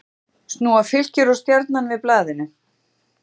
Snúa Fylkir og Stjarnan við blaðinu